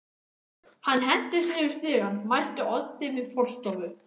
Hann hentist niður stigann, mætti Oddi við forstofu